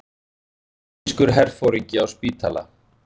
Króatískur herforingi á spítala